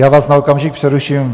Já vás na okamžik přeruším.